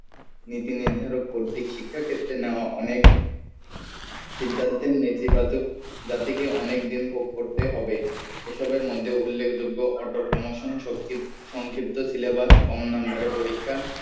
নীতি নির্ধারক কর্তি শিক্ষার ক্ষেত্রে নেওয়া অনেক সিদ্ধান্তের নেতিবাচক জাতিকে অনেকদিন ভোগ করতে হবে এ সবের মধ্যে উল্লেখ যোগ্য সংক্ষিপ্ত syllabus, কম number এ পরীক্ষা